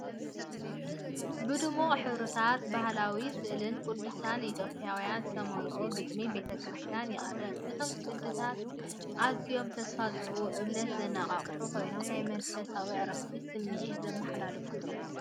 ብድሙቕ ሕብርታትን ባህላዊ ስእሊ ቅዱሳን ኢትዮጵያውያንን ዝተመልአ ግጥሚ ቤተ ክርስቲያን ይቐርብ። እቶም ቅዲታት ኣዝዮም ተስፋ ዝህቡን እምነት ዘነቓቕሑን ኮይኖም፡ ናይ መንፈሳዊ ዕረፍቲ ስምዒት ዘመሓላልፉ እዮም።